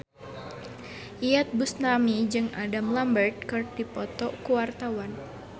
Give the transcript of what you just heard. Iyeth Bustami jeung Adam Lambert keur dipoto ku wartawan